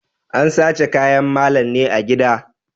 An sace kayan malam ne a gida.